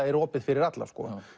er opið fyrir alla